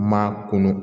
Maa kunnu